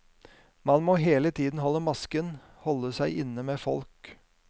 Man må hele tiden holde masken, holde seg inne med folk.